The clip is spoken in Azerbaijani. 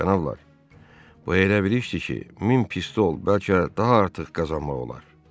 Cənablar, bu elə bir işdir ki, min pistol, bəlkə daha artıq qazanmaq olar.